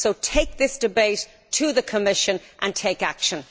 Take this debate to the Commission and take action.